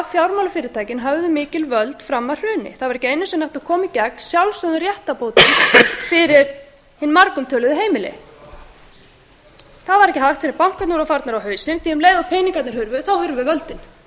fjármálafyrirtækin höfðu mikil völd fram að hruni það var ekki einu sinni hægt að koma í gegn sjálfsögðum réttarbótum fyrir hin margumtöluðu heimili það var ekki hægt fyrr en bankarnir voru farnir á hausinn því að um leið og peningarnir hurfu hurfu völdin